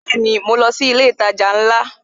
Bẹẹni, mo lọ sí ilé itaja ńlá?